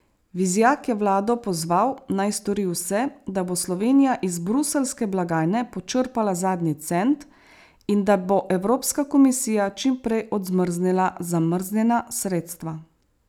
Vizjak je vlado pozval, naj stori vse, da bo Slovenija iz bruseljske blagajne počrpala zadnji cent in da bo Evropska komisija čim prej odmrznila zamrznjena sredstva.